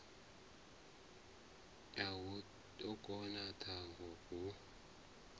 a u koḓa thanga hu